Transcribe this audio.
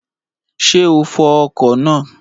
Ṣé o fọ ọkọ̀ náà?